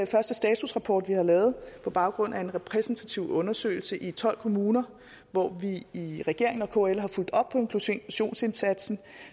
første statusrapport vi har lavet på baggrund af en repræsentativ undersøgelse i tolv kommuner hvor vi i regeringen og kl har fulgt op på inklusionsindsatsen